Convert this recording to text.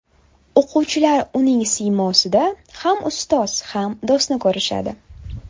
O‘quvchilar uning siymosida ham ustoz ham do‘stni ko‘rishadi.